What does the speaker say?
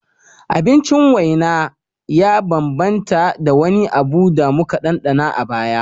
Abincin waina ya bambanta da wani abu da muka ɗanɗana a baya